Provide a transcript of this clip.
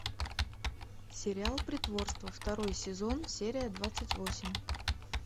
сериал притворство второй сезон серия двадцать восемь